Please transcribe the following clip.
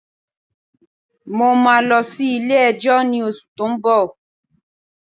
Mo máa lọ sí ilé ẹjọ́ ní oṣù tó ń bọ̀.